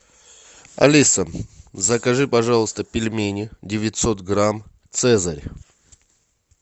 алиса закажи пожалуйста пельмени девятьсот грамм цезарь